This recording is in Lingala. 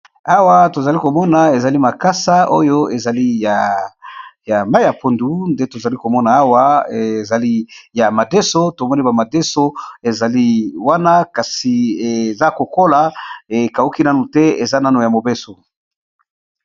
Awa tozali ko mona ezali makasa oyo ezali ya mai ya pondu. Nde tozali ko mona awa ezali ya madeso. To moni ba madeso ezali wana kasi eza kokola ekauki nanu te eza nano ya mobeso.